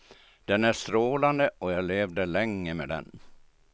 Den är strålande och jag levde länge med den.